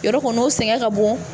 Yɔrɔ kɔni o sɛgɛn ka bon